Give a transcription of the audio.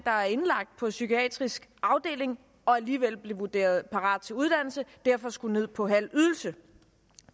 var indlagt på psykiatrisk afdeling og alligevel blev vurderet parat til uddannelse og derfor skulle ned på halv ydelse